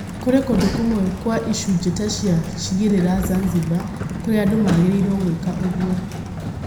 Kũrĩ kũndũ kũmwe kwa icunjĩ ta cia cigĩrĩra Zanzibar, kũrĩa andũ magiragio gwĩka ũguo.